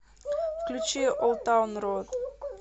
включи олд таун роад